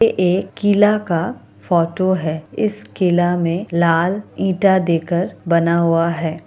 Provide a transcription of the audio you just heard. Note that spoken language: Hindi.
ये एक कीला का फोटो है इस कीला में लाल ईंटा दे कर बना हुआ है।